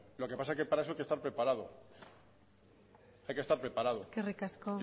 lo que pasa que para eso hay que estar preparado hay que estar preparado y